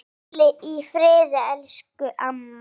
Hvíli í friði, elsku amma.